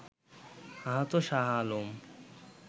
আহত শাহ আলম